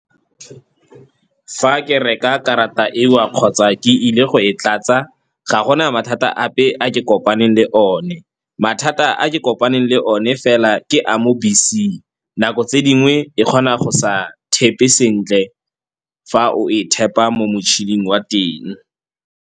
Fa ke reka karata eo kgotsa ke ile go e tlatsa ga gona mathata ape a ke kopaneng le one. Mathata a ke kopaneng le one fela ke a mo beseng, nako tse dingwe e kgona go sa thepe sentle fa o e thepa mo motšhining wa teng.